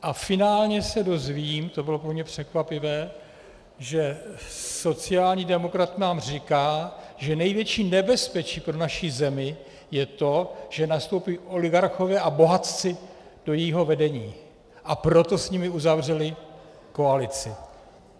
A finálně se dozvím, to bylo pro mě překvapivé, že sociální demokrat nám říká, že největší nebezpečí pro naší zemi je to, že nastoupí oligarchové a bohatci do jejího vedení, a proto s nimi uzavřeli koalici.